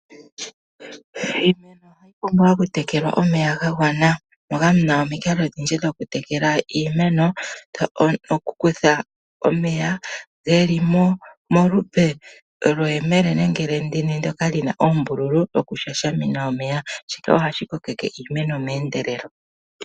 Iimeno ohayi pumbwa okutekelwa omeya gagwana moka muna omikalo odhindji dhokutekela iimeno. tokutha omeya geli molupe lye yemele nenge lyendini ndoka lina oombululu dho ku shashamina omeya shika ohashi kokeke iimeno meendelelo.